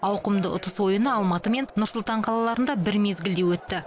ауқымды ұтыс ойыны алматы мен нұр сұлтан қалаларында бір мезгілде өтті